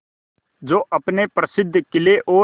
जो अपने प्रसिद्ध किले और